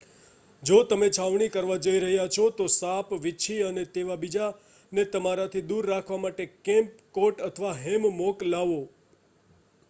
જો તમે છાવણી કરવા જઇ રહ્યા છો તો સાપ વીંછી અને તેવા બીજાને તમારાથી દૂર રાખવા માટે કેમ્પ કોટ અથવા હેમમોક લાવો